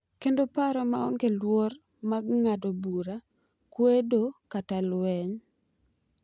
Kendo paro maonge luoro mar ng'ado bura, kwedo, kata lweny.